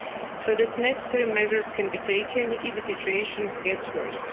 so that necessary measures can be taken if the situation gets worse.